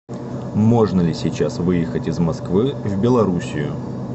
можно ли сейчас выехать из москвы в белоруссию